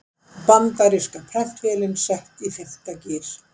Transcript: Bandaríska prentvélin sett í fimmta gír